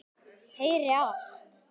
Heyri allt.